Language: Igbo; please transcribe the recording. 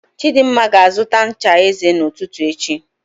Chidimma ga-azụta ncha eze n'ụtụtụ echi